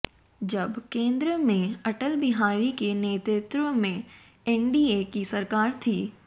जब केंद्र में अटल बिहारी के नेतृत्व में एनडीए की सरकार थी